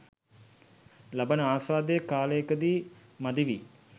ලබන ආස්වාදය කාලයකදී මදි වී